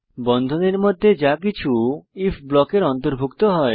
বন্ধনীর মধ্যে যা কিছু আইএফ ব্লকের অন্তর্ভুক্ত হয়